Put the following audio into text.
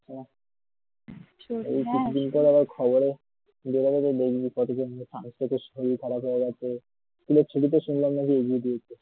হ্যাঁ এই দুদিন পর আবার খবরে হ্যাঁ দেখবি বলবে sun strock এ খারাপ হয়ে গেছে ছুটি তো শুনলাম নাকি এগিয়ে দিয়েছে